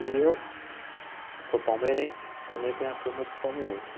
E eu sou palmeirense, também tem a turma dos palmeirenses.